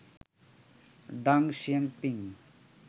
ডাং শিয়াও পিং